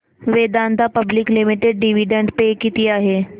Vedanta public limited dividend pay किती आहे